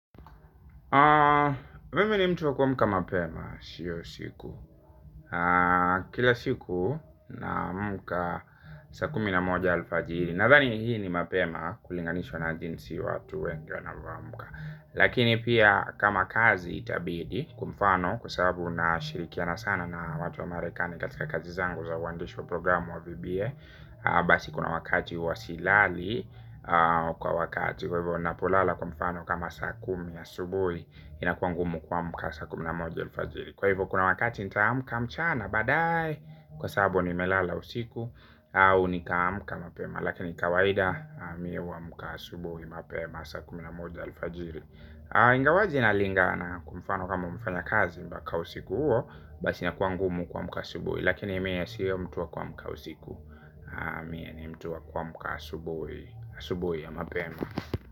Mimi ni mtu wa kuamka mapema sio usiku. Kila siku naamka saa kumi na moja alfajiri. Nadhani hii ni mapema kulinganishwa na jinsi watu wengi wanavyoamka. Lakini pia kama kazi itabidi kwa mfano kwa sabu nashirikiana sana na watu wa marekani katika kazi zangu za uandishi wa programu wa VBA. Basi kuna wakati huwa silali kwa wakati. Kwa hivyo unapolala kwa mfano kama saa kumi asubui inakua ngumu kuamka saa kumi na moja alfajiri. Kwa hivyo kuna wakati nitaamka mchana baadaye. Kwa sabu nimelala usiku au nikaamka mapema. Lakini kawaida mie huamka asubuhi mapema saa kumi na moja alfajiri. Ingawaje inalingana kwa mfano kama umefanya kazi mbaka usiku huo basi inakua ngumu kuamka asubyoi. Lakini mie siyo mtu wa kuamka usiku ni mtu wa kuamka asubuhi asubuhi ya mapema.